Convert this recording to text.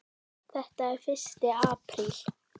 Þetta er fyrsti apríl.